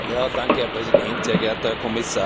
Herr Präsident, sehr geehrter Herr Kommissar!